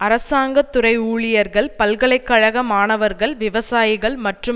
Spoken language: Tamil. அரசாங்க துறை ஊழியர்கள் பல்கலை கழக மாணவர்கள் விவசாயிகள் மற்றும்